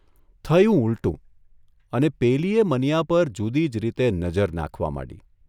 થયું ઉલટું અને પેલીએ મનીયા પર જુદી જ રીતે નજર નાંખવા માંડી.